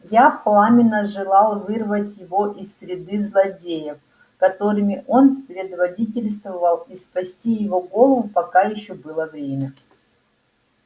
я пламенно желал вырвать его из среды злодеев которыми он предводительствовал и спасти его голову пока ещё было время